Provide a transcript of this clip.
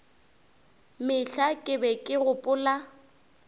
mehla ke be ke gopola